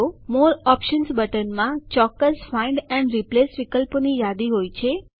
મોરે options બટનમાં ચોક્કસ find and replace વિકલ્પોની યાદી હોય છે